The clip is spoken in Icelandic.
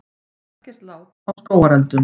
Ekkert lát á skógareldunum